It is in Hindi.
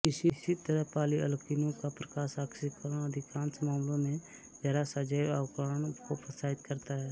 इसी तरह पॉलिअल्कीनों का प्रकाशआक्सीकरण अधिकांश मामलों में जरा सा जैवअवक्रमण को प्रोत्साहित करता है